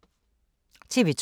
TV 2